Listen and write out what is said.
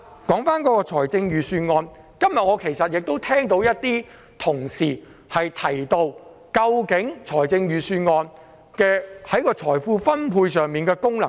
說回預算案，今天有同事提到預算案在財富分配上的功能。